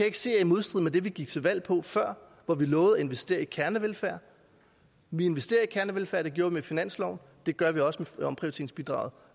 ikke se er i modstrid med det vi gik til valg på før hvor vi lovede at investere i kernevelfærd vi investerer i kernevelfærd det gjorde vi med finansloven og det gør vi også